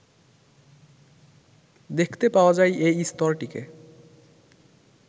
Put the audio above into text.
দেখতে পাওয়া যায় এই স্তরটিকে